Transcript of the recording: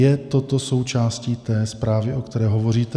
Je toto součástí té zprávy, o které hovoříte?